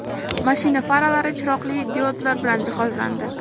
Mashina faralari chiroqli diodlar bilan jihozlandi.